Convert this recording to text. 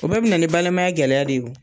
O bɛɛ bɛ na ni balimaya gɛlɛya de ye o.